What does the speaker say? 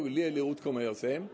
léleg útkoma hjá þeim